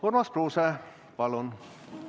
Urmas Kruuse, palun!